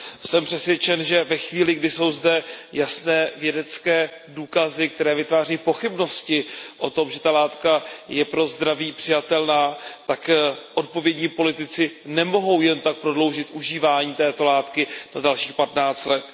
Jsem přesvědčen, že ve chvíli, kdy jsou zde jasné vědecké důkazy, které vytvářejí pochybnosti o tom, že tato látka je pro zdraví přijatelná, tak odpovědní politici nemohou jen tak prodloužit užívání této látky o dalších 15 let.